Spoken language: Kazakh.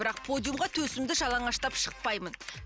бірақ подиумға төсімді жалаңаштап шықпаймын